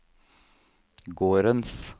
gårdens